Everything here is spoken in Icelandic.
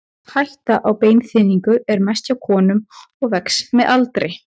Hætta á beinþynningu er mest hjá konum og vex með aldri.